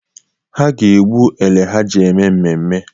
Ha ga-egbu ele ha ji eme mmemme